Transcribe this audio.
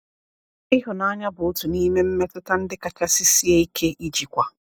Ihụnanya bụ otu n’ime mmetụta ndị kachasị sie ike ijikwa.